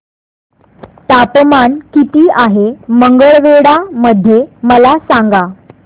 तापमान किती आहे मंगळवेढा मध्ये मला सांगा